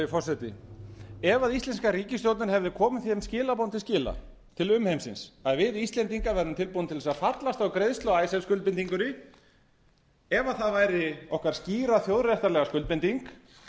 forseti ef íslenska ríkisstjórnin hefði komið þeim skilaboðum til skila til umheimsins að við íslendingar værum tilbúnir til þess að fallast á greiðslu á icesave skuldbindingunni ef það væri okkar skýra þjóðréttarlega skuldbinding